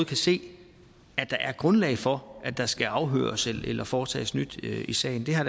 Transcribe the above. kan se at der er grundlag for at der skal afhøres eller foretages nyt i sagen det har